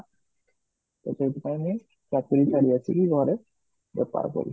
ତ ସେଥିପାଇଁ ମୁଁ ଚାକିରି ଛାଡି ଆସିକି ଘରେ ବେପାର କରୁଛି